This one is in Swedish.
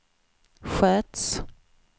sköts